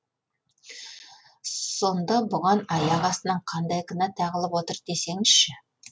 сонда бұған аяқ астынан қандай кінә тағылып отыр десеңізші